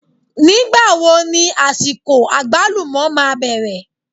Nígbà wo ní àsìkò àgbálùmọ́ máa bẹ̀rẹ̀?